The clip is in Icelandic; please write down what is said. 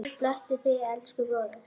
Guð blessi þig, elsku bróðir.